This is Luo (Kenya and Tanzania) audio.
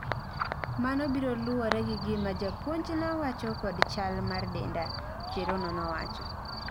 Mano biro luwore gi gima japuonjna wacho kod chal mar denda, Cherono nowacho